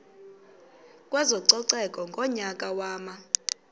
kwezococeko ngonyaka wama